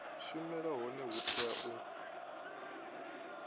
shumela hone hu tea u